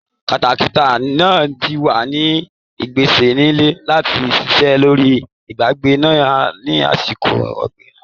Katakata náà ti wà ní ìpèsè sílẹ̀ láti ṣiṣẹ́ lórí agbègbè ńlá ní àsìkò ọ̀gbìn tí ń bọ̀.